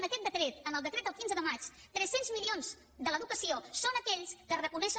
en aquest decret en el decret del quinze de maig tres cents milions de l’educació són aquells que es reconeixen